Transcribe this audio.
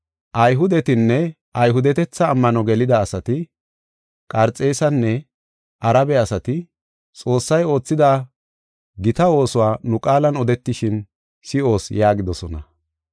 Ayhudetinne Ayhudetetha ammano gelida asati, Qarxeesanne Arabe asati, Xoossay oothida gita oosuwa nu qaalan odetishin si7oos” yaagidosona.